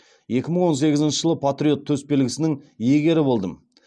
екі мың он сегізінші жылы патриот төсбелгісінің иегері болдым